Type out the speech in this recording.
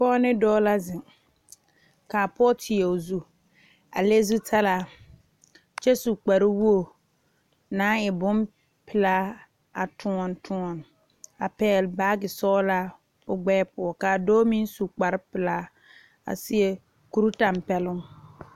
Pɔge ne dɔɔ la zeŋ kaa pɔge teɛ o zu a le zutalaa kyɛ su kpare wogi naŋ e bonpeɛle a kyɔle kyɔle a pegle baagi sɔglaa o gbɛɛ poɔ kaa dɔɔ meŋ su kpare pelaa a seɛ kuri tanpɛloŋ.